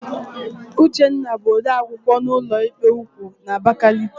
Uchenna bụ odeakwụkwọ na ụlọikpe ukwu nọ n'Abakaliki.